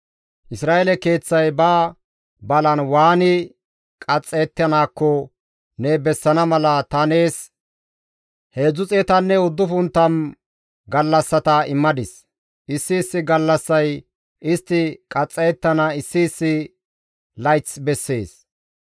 Isra7eele keeththay ba balan waani qaxxayettanaakko ne bessana mala ta nees 390 gallassata immadis; issi issi gallassay istti qaxxayettana issi issi layth bessees.